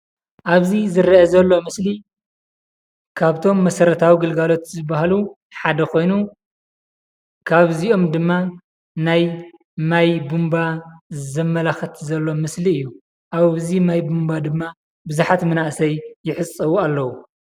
ኣብዚ ዝርአ ዘሎ ምስሊ ካብቶም መሰረታዊ ግልጋሎት ዝብሃሉ ሓደ ኮይኑ ካብዚኦም ድማ ናይ ማይ ቡንቧ ዘመላኽት ዘሎ ምስሊ እዩ። ኣብዚ ማይ ቡንቧ ድማ ቡዙሓት መናእሰይ ይሕፀቡ ኣለዉ።